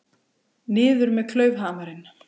Niður með klaufhamarinn!